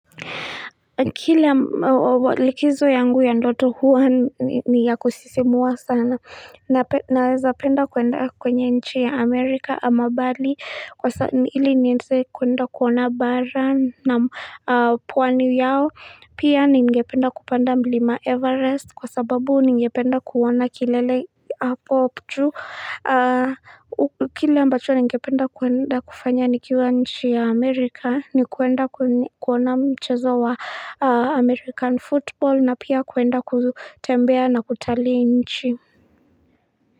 Kila, likizo yangu ya ndoto huwa ni ya kusisimua sana naweza penda kuenda kwenye nchi ya Amerika ama Bali, ili nieze kuenda kuona bara na'am pwanu yao. Pia ningependa kupanda mlima Everest kwa sababu ningependa kuona kilele hapo chuu Kile ambacho ningependa kuenda kufanya nikiwa nchi ya Amerika ni kwenda kuona mchezo wa American football na pia kwenda kutembea na kutalii nchi.